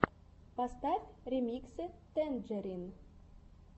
поставь ремиксы тэнджерин